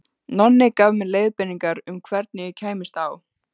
Nonni gaf mér leiðbeiningar um hvernig ég kæmist á